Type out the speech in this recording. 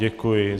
Děkuji.